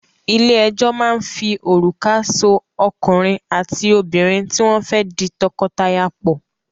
Ilé-ẹjọ́ máa ń fi òrùka so ọkùnrin àti obìnrin tí wọ́n fẹ́ di tọkọtaya pọ̀.